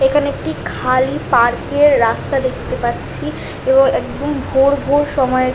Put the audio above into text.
এখানে একটি খালি পার্কের - এর রাস্তা দেখতে পাচ্ছি এবং একদম ভোর ভোর সময়ে --